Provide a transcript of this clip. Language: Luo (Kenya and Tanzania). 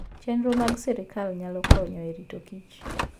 Chenro mag sirkal nyalo konyo e rito kich.